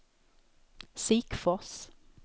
Sikfors